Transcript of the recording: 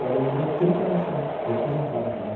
Trabalhou durante trinta anos também, já aposentada também.